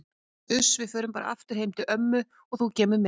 Uss, við förum bara aftur heim til ömmu og þú kemur með.